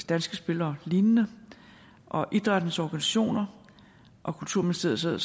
danske spil og lignende og idrættens organisationer og kulturministeriet sidder